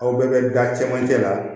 Aw bɛɛ bɛ da cɛmancɛ la